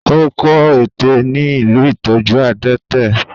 Ó kó ẹ̀tẹ̀ ní ilé ìtọ́jú adẹ́tẹ̀.